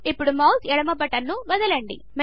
ఇప్పుడు మౌస్ ఎడమ బటన్ను వదలండి